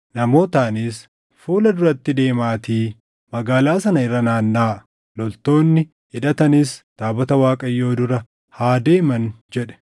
Namootaanis, “Fuula duratti deemaatii magaalaa sana irra naannaʼaa; loltoonni hidhatanis taabota Waaqayyoo dura haa deeman” jedhe.